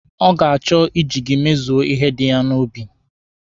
Ọ ga-achọ iji gị emezu ihe dị ya n'obi